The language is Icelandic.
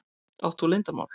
Átt þú leyndarmál?